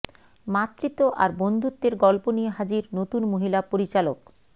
মাতৃত্ব আর বন্ধুত্বের গল্প নিয়ে হাজির নতুন মহিলা পরিচালক